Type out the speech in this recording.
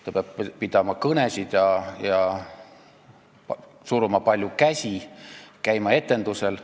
Ta peab pidama kõnesid ja suruma palju käsi, käima etendustel.